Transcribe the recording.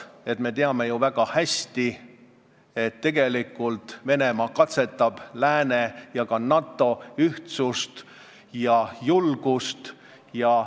Me teame ju väga hästi, et tegelikult Venemaa katsetab lääne ja ka NATO ühtsust ja julgust.